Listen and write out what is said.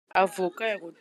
Avocat ya kotela bakati.